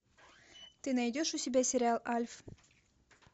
ты найдешь у себя сериал альф